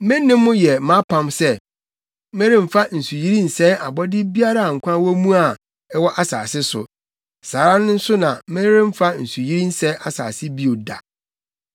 Me ne mo yɛ mʼapam sɛ: Meremfa nsuyiri nsɛe abɔde biara a nkwa wɔ mu a ɛwɔ asase so. Saa ara nso na meremfa nsuyiri nsɛe asase bio da.”